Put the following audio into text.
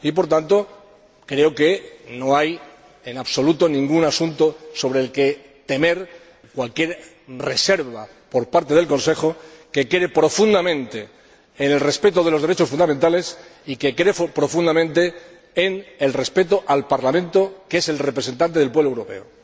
Por tanto, creo que no hay en absoluto ningún asunto sobre el que temer cualquier reserva por parte del Consejo, que cree profundamente en el respeto de los derechos fundamentales y que cree profundamente en el respeto al Parlamento, que es el representante del pueblo europeo.